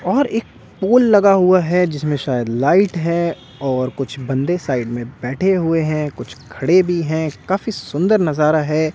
और एक पोल लगा हुआ है जिसमें शायद लाइट है और कुछ बंदे साइड में बैठे हुए हैं कुछ खड़े भी हैं काफी सुंदर नजारा है।